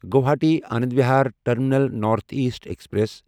Guwahati Anand Vihar terminal north east express